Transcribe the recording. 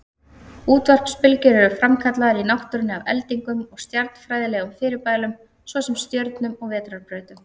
Útvarpsbylgjur eru framkallaðar í náttúrunni af eldingum og stjarnfræðilegum fyrirbærum, svo sem stjörnum og vetrarbrautum.